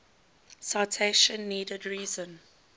citation needed reason